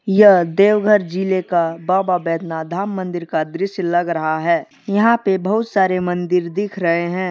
यह देवघर जिले का बाबा बैजनाथ धाम मंदिर का दृश्य लग रहा है यहां पे बहुत सारे मंदिर दिख रहे हैं।